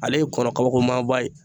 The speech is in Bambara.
Ale ye kɔnɔ kabakomaba ye.